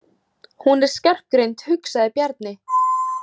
Hún er skarpgreind, hugsaði Bjarni.